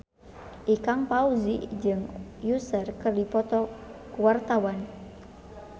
Ikang Fawzi jeung Usher keur dipoto ku wartawan